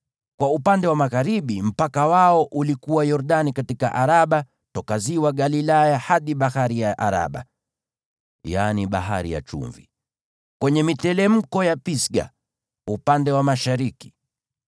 Kwa upande wa magharibi mpaka wao ulikuwa Yordani katika Araba, toka ziwa Galilaya hadi Bahari ya Araba (yaani Bahari ya Chumvi), kwenye miteremko ya Pisga upande wa mashariki.